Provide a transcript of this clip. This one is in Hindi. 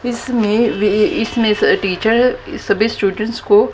इसमें वे इसमें से टीचर सभी स्टूडेंट्स को--